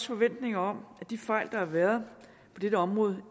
forventning om at de fejl der har været på dette område